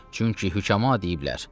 Çünki həkəma deyiblər: